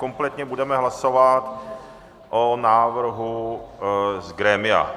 Kompletně budeme hlasovat o návrhu z grémia.